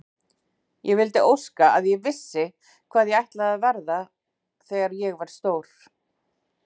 Ég vildi óska að ég vissi hvað ég ætlaði að verða þegar ég verð stór.